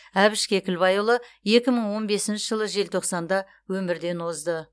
әбіш кекілбайұлы екі мың он бесінші жылы желтоқсанда өмірден озды